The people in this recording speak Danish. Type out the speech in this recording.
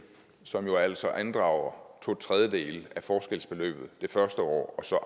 som jo altså andrager to tredjedele af forskelsbeløbet det første år og så